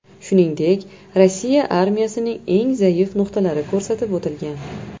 Shuningdek, Rossiya armiyasining eng zaif nuqtalari ko‘rsatib o‘tilgan.